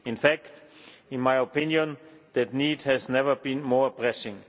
In fact, in my opinion, that need has never been more pressing.